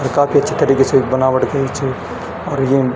अर काफी अच्छी तरीके से बनावट करीं च और येम --